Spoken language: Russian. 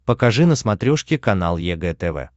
покажи на смотрешке канал егэ тв